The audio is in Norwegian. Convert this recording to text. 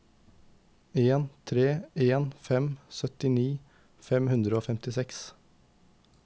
en tre en fem syttini fem hundre og femtiseks